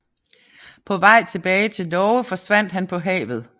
På vej tilbage til Norge forsvandt han på havet